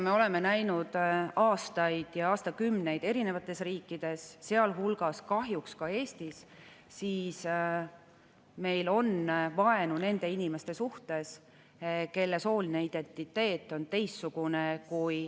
Me oleme näinud aastaid ja aastakümneid erinevates riikides, sealhulgas kahjuks ka Eestis, vaenu nende inimeste suhtes, kelle sooline identiteet on teistsugune kui …